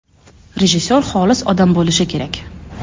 Rejissor xolis odam bo‘lishi kerak.